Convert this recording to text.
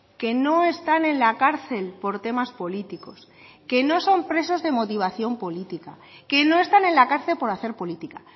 que no están en la cárcel por temas políticos que no son presos de motivación política que no están en la cárcel por hacer política